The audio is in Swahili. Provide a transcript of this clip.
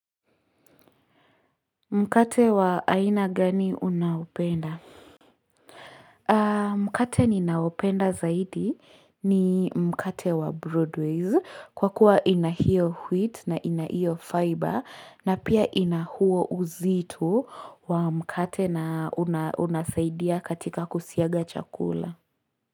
Mkate wa aina gani unaopenda? Mkate ni naopenda zaidi ni mkate wa broadways. Kwa kuwa ina hio wheat na ina iyo fiber na pia ina huo uzito wa mkate na una unasaidia katika kusiaga chakula.